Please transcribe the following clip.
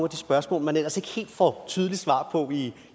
de spørgsmål man ellers ikke helt får tydeligt svar på i